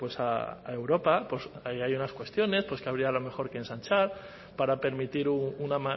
a europa ahí hay unas cuestiones que habría a lo mejor que ensanchar para permitir una